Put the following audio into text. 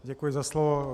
Děkuji za slovo.